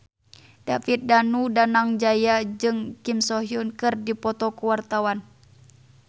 David Danu Danangjaya jeung Kim So Hyun keur dipoto ku wartawan